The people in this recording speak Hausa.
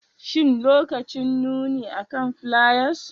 Shin lokacin nuni akan fliers